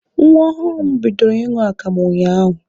Nwa ọhụrụ m bidoro ịṅụ akamụ unyaahụ.